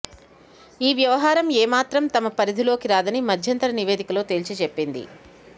ఈ వ్యవహారం ఏమాత్రం తమ పరిధిలోకి రాదని మధ్యంతర నివేదికలో తేల్చి చెప్పింది